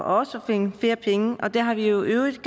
også at finde flere penge og det har vi jo i øvrigt